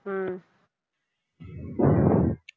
உம்